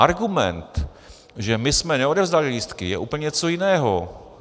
Argument, že my jsme neodevzdali lístky, je úplně něco jiného.